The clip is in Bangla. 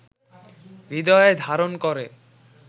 হৃদয়ে ধারণ করে